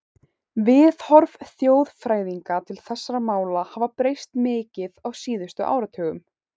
Viðhorf þjóðfræðinga til þessara mála hafa breyst mikið á síðustu áratugum.